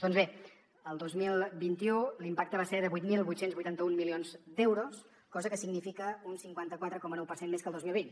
doncs bé el dos mil vint u l’impacte va ser de vuit mil vuit cents i vuitanta un milions d’euros cosa que significa un cinquanta quatre coma nou per cent més que el dos mil vint